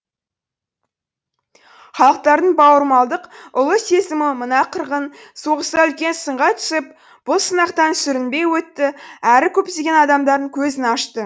халықтардың бауырмалдық ұлы сезімі мына қырғын соғыста үлкен сынға түсіп бұл сынақтан сүрінбей өтті әрі көптеген адамдардың көзін ашты